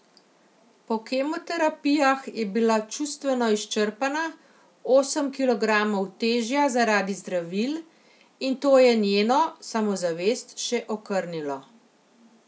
Po kemoterapijah je bila čustveno izčrpana, osem kilogramov težja zaradi zdravil, in to je njeno samozavest še okrnilo.